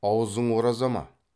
аузың ораза ма